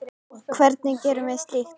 Hvernig gerum við slíkt?